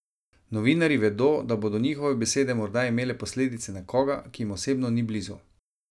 Novinarji vedo, da bodo njihove besede morda imele posledice na koga, ki jim osebno ni blizu.